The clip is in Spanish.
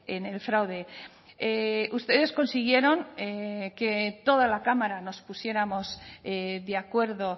en el fraude ustedes consiguieron que toda la cámara nos pusiéramos de acuerdo